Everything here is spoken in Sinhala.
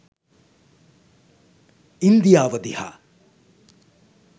ඉන්දියාව දිහා.